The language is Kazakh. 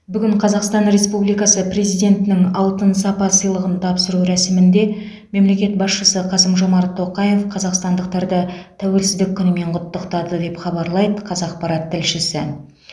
бүгін қазақстан республикасы президентінің алтын сапа сыйлығын тапсыру рәсімінде мемлекет басшысы қасым жомарт тоқаев қазақстандықтарды тәуелсіздік күнімен құттықтады деп хабарлайды қазақпарат тілшісі